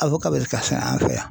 bɛ se ka sɛnɛ an fɛ yan .